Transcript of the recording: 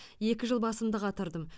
екі жыл басымды қатырдым